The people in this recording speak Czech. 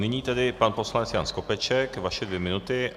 Nyní tedy pan poslanec Jan Skopeček, vaše dvě minuty.